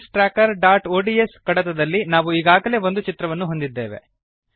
personal finance trackerಒಡಿಎಸ್ ಕಡತದಲ್ಲಿ ನಾವು ಈಗಾಗಲೇ ಒಂದು ಚಿತ್ರವನ್ನು ಹೊಂದಿದ್ದೇವೆ